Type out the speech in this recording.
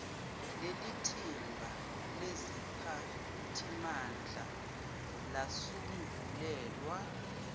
lelithimba leziphathimandla lasungulelwa